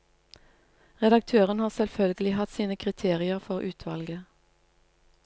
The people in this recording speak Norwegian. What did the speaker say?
Redaktøren har selvfølgelig hatt sine kriterier for utvalget.